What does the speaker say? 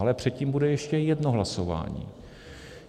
Ale předtím bude ještě jedno hlasování.